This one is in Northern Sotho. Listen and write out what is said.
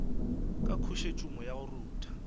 ka khosetšhumo ya go rutha